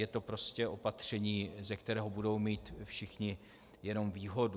Je to prostě opatření, ze kterého budou mít všichni jenom výhodu.